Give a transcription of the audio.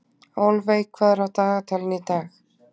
Álfey, hvað er á dagatalinu í dag?